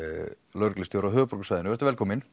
lögreglustjóri á höfuðborgarsvæðinu vertu velkomin